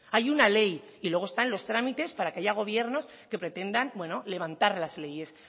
hay una ley y luego están los trámites para que haya gobiernos que pretendan bueno levantar las leyes